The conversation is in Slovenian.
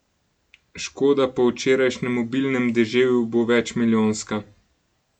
Škoda po včerajšnjem obilnem deževju bo večmilijonska.